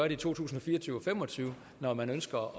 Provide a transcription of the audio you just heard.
i to tusind og fire og tyve og fem og tyve når man ønsker